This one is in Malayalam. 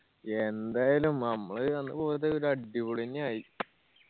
യെന്തായാലും നമ്മള് അന്ന് പോയത് ഒരു അടിപൊളി എന്നെ ആയി